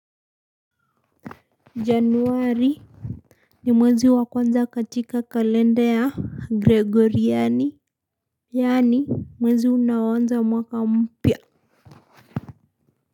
Januari. Ni mwezi wa kwanza katika kalenda ya Gregoriani. Yani mwezi una wanza mwaka mpia.